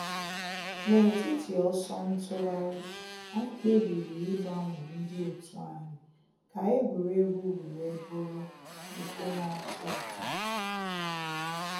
N’etiti ọsọ ntụgharị, anyị kpebiri ịgbanwe ndị òtù anyi ka egwuregwu wee bụrụ nke na.-atọ ụtọ.